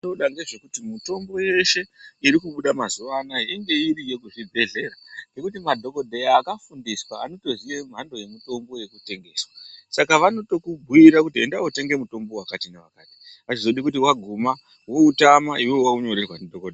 Zvatinoda ngezvekuti mitombo yeshe iri kubuda mazuwa anaya inge iriyo kuzvibhehlera ngokuti madhokodheya akafundiswa anotoziye mhando yemutombo inotengeswa saka vanotokumbiyire kuti enda wotenge mutombo wakati newakati azvizodi kuti waguma woutama iwewe waunyorerwa ndidhokodheya.